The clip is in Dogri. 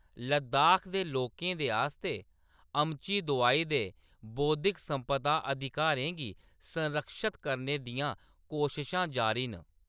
लद्दाख दे लोकें दे आस्तै अमची दोआई दे बौद्धिक संपदा अधिकारें गी संरक्षत करने दियां कोशशां जारी न।